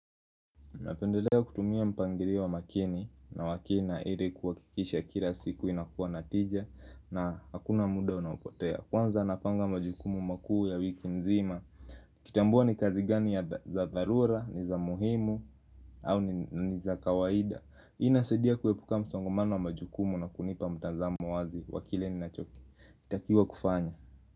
Napendelea kutumia mpangilio wa makini na wakina ili kuhakikisha kila siku inakuwa natija na hakuna muda unaopotea. Kwanza napanga majukumu makuu ya wiki nzima. Kutambua ni kazi gani za tharura, ni za muhimu au ni za kawaida. Ina saidia kuepuka msongomano wa majukumu na kunipa mtazamo wazi wa kile ninacho kitakiwa kufanya.